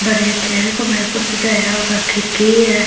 बड़े अच्छे से कमरे को सजाया हुआ खिड़की है।